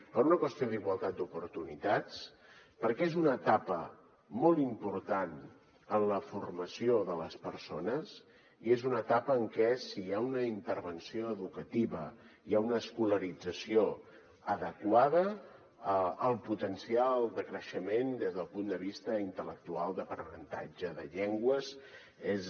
per una qüestió d’igualtat d’oportunitats perquè és una etapa molt important en la formació de les persones i és una etapa en què si hi ha una intervenció educativa hi ha una escolarització adequada el potencial de creixement des del punt de vista intel·lectual d’aprenentatge de llengües és